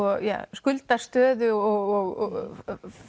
skuldastöðu og